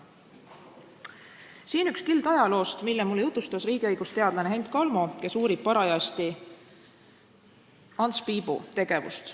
Siinkohal üks kild ajaloost, mille mulle jutustas riigiõigusteadlane Hent Kalmo, kes uurib parajasti Ants Piibu tegevust.